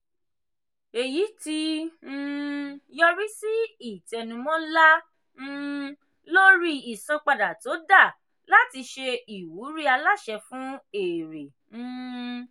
èyí ti um yọrí sí ìtẹnumọ́ ńlá um lórí ìsanwó tó dà láti ṣe ìwúrí aláṣẹ fún èrè. um